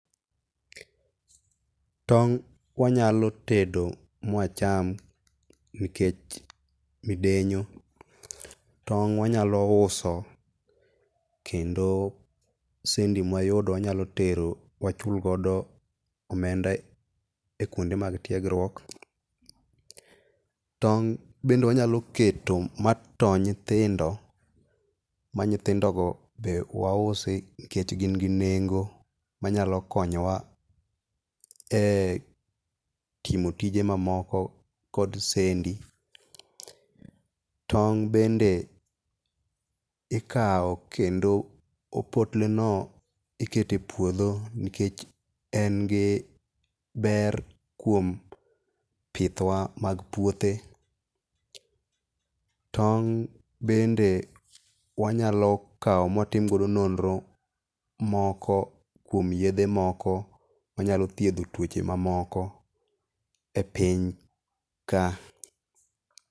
Tong' wanyalo tedo mwacham nikech midenyo . Tong' wanyalo uso kendo sendi mwayudo wanyalo tero wachulgodo omenda e kwonde mag tiegruok. Tong' bende wanyalo keto matoo nyithindo, ma nyithindogo be wausi nikech gin gi nengo manyalo konyowa e timo tije mamoko, kod sendi. Tong' bende ikawo kendo opotleno, ikete puodho nikech en gi ber kuom pith wa mag puothe. Tong' bende wanyalo kawo mwatim godo nonro moko kuom yedhe moko manyalo thiedho tuoche mamoko e piny ka.